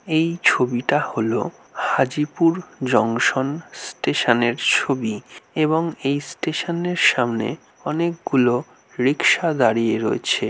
এই ছবিটা হল হাজিপুর জংশন স্টেশন -এর ছবি এবং এই স্টেশন -এর সামনে অনেকগুলো রিক্সা দাড়িয়ে রয়েছে।